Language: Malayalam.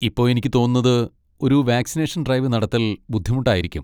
ഇപ്പൊ എനിക്ക് തോന്നുന്നത്, ഒരു വാക്സിനേഷൻ ഡ്രൈവ് നടത്തൽ ബുദ്ധിമുട്ടായിരിക്കും.